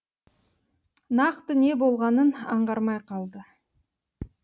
нақты не болғанын аңғармай қалды